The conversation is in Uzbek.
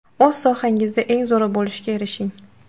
O‘z sohangizda eng zo‘ri bo‘lishga erishing!